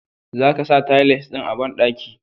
Zaka sa tiles ɗin a banɗaki.